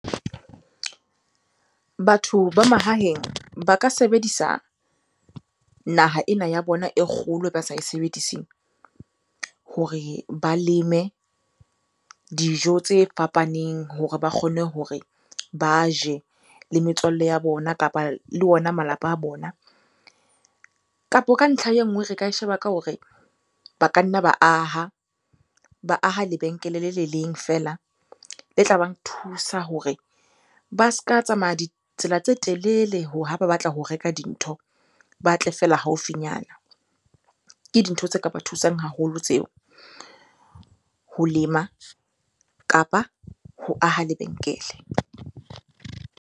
Batho ba mahaheng ba ka sebedisa naha ena ya bona e kgolo ba sa e sebediseng, hore ba leme dijo tse fapaneng hore ba kgone hore ba je le metswalle ya bona kapa le ona malapa a bona. Kapo ka ntlha e nngwe re ka e sheba ka hore ba ka nna ba aha, ba aha lebenkele le le leng fela le tla bang thusa hore ba ska tsamaya ditsela tse telele ha ba batla ho reka dintho, ba tle feela haufinyana. Ke dintho tse ka ba thusang haholo tseo. Ho lema kapa ho aha lebenkele.